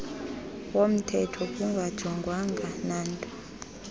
womthetho kungajongwanga nanto